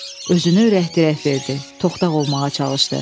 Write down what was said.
Özünə ürək-dirək verdi, toxtaq olmağa çalışdı.